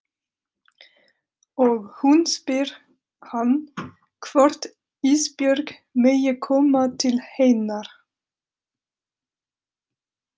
Og hún spyr hann hvort Ísbjörg megi koma til hennar.